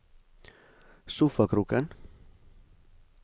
sofakroken